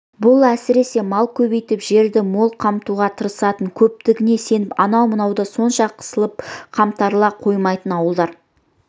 бұл әсіресе мал көбейтіп жерді мол қамтуға тырысатын көптігіне сеніп анау-мынаудан онша қысылып қымтырыла қоймайтын ауылдар